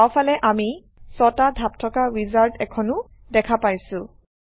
বাওঁফালে আমি ৬টা ধাপ থকা উইজাৰ্ড এখনো দেখা পাইছোঁ